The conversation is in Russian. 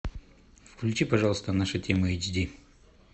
включи пожалуйста наша тема эйч ди